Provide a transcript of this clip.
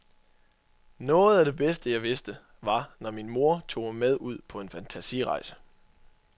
Noget af det bedste, jeg vidste, var, når min mor tog mig med ud på en fantasirejse.